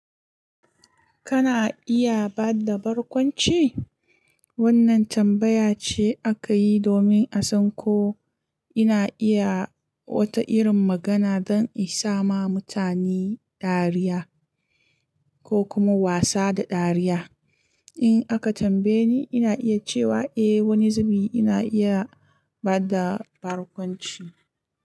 Kana iya ba da barkwanci? Wannan tambaya ce aka yi domin a san ko ina iya wata irin magana don in sama mutane dariya ko kuma wasa da dariya. In aka tambaye ni, ina iya cewa eh wani zubi ina iya ba da barkwanci.